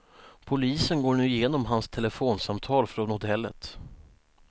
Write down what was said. Polisen går nu igenom hans telefonsamtal från hotellet.